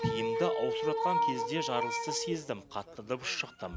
киімімді ауыстырып жатқан кезде жарылысты сездім қатты дыбыс шықты